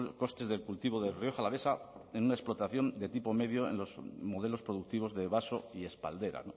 costes del cultivo de rioja alavesa en una explotación de tipo medio en los modelos productivos de vaso y espaldera